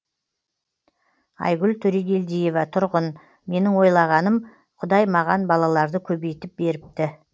айгүл төрегелдиева тұрғын менің ойлағаным құдай маған балаларды көбейтіп беріпті